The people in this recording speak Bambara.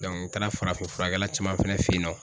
n taara farafin furakɛla caman fɛnɛ fɛ yen nɔ.